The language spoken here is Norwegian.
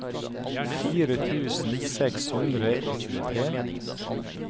fire tusen seks hundre og tjuetre